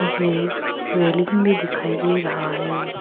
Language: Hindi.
मुझे रेलिंग भी दिखाई दे रहा है।